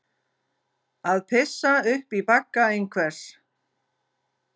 Að pissa upp í bagga einhvers